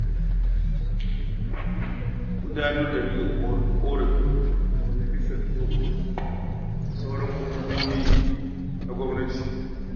Gudanar da mika ƙorafi ga majalisar dokoki ko sauran hukumomin gwamnati.